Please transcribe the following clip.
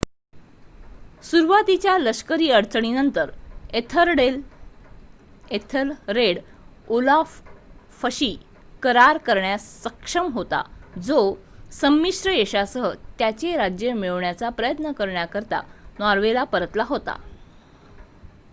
सुरुवातीच्या लष्करी अडचणींनंतर एथलरेड ओलाफशी करार करण्यास सक्षम होता जो संमिश्र यशासह त्याचे राज्य मिळवण्याचा प्रयत्न करण्यासाठी नॉर्वेला परतला होता